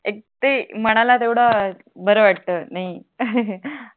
ते मनाला तेवड बर वाटत नाही ही ही